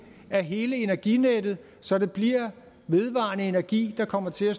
af hele energinettet så det bliver den vedvarende energi der kommer til at